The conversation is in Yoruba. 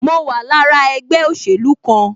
Mo wà lára ẹgbẹ́ òsèlú kan